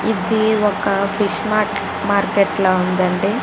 ఇది ఒక fish market ల ఉంది అండి --